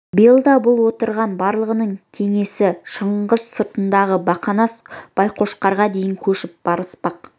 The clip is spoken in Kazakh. биыл да бұл отырған барлығының кеңесі шыңғыс сыртындағы бақанас байқошқарға шейін көшіп барыспақ